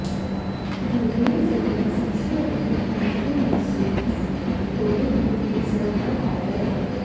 उन्होंने जिंदा सबसे अमीर रैपरों में से एक होने के लिए सराहना की है